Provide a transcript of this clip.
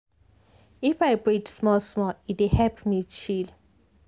if i breathe small small e dey help me chill.